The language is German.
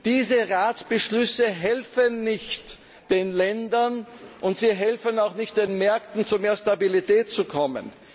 Diese Ratsbeschlüsse helfen nicht den Ländern, und sie helfen auch nicht den Märkten, zu mehr Stabilität zu kommen.